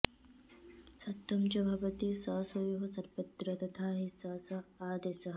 सत्वं च भवति शषयोः सर्वत्र तथा हि स स आदेशः